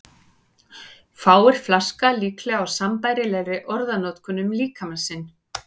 Fáir flaska líklega á sambærilegri orðanotkun um líkama sinn.